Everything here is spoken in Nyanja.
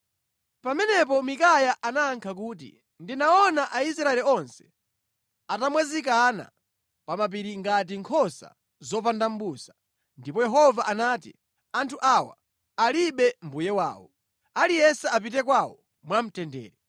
Pamenepo Mikaya anayankha kuti, “Ndinaona Aisraeli onse atamwazikana pa mapiri ngati nkhosa zopanda mʼbusa, ndipo Yehova anati, ‘Anthu awa alibe mbuye wawo. Aliyense apite kwawo mwamtendere.’ ”